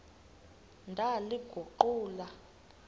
ndaliguqula